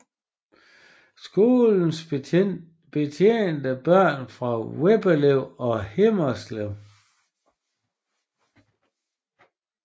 Skolen betjente børn fra Veddelev og Himmelev